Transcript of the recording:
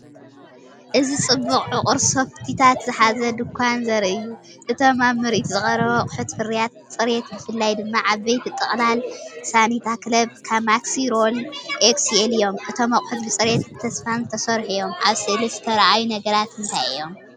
እዚ ጽቡቕ ዕቑር ሶፍቲታት ዝሓዘ ድኳን ዘርኢ እዩ። እቶም ኣብ ምርኢት ዝቐርቡ ኣቑሑት ፍርያት ጽሬት ብፍላይ ድማ ዓበይቲ ጥቕላል "ሳኒታ ክለብ ማክሲ ሮል ኤክስኤል" እዮም። እቶም ኣቑሑት ብፅሬትን ተስፋን ዝተሰርሑ እዮም። ኣብ ስእሊ ዝተርኣዩ ነገራት እንታይ እዮም?